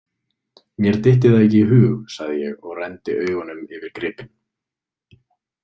Mér dytti það ekki í hug, sagði ég og renndi augunum yfir gripinn.